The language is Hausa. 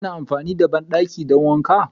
Ana amfani da bandaki don wanka.